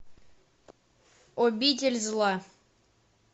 обитель зла